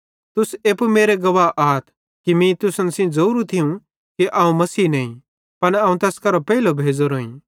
तुस एप्पू मेरे गवाह आथ कि मीं तुसन सेइं ज़ोरू थियूं कि अवं मसीह नईं पन अवं तैस करां पेइले परमेशरेरां तरफां भेज़ोरोईं